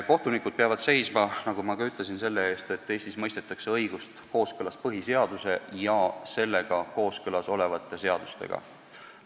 Kohtunikud peavad seisma, nagu ma juba ütlesin, selle eest, et Eestis mõistetakse õigust kooskõlas põhiseaduse ja sellega kooskõlas olevate seadustega.